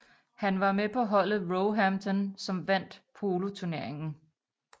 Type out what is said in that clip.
Han var med på holdet Roehampton som vandt poloturneringen